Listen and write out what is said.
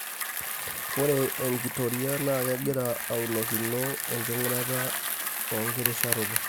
Ore enkitoria naa kegira aunokino enking'urata enkirisharoto.